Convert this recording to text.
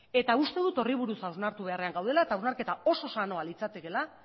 eta uste dut horri buruz hausnartu beharra dugula eta hausnarketa oso sanoa litzatekeela